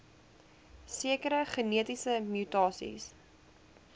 sekere genetiese mutasies